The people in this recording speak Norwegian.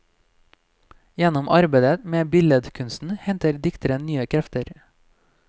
Gjennom arbeidet med billedkunsten henter dikteren nye krefter.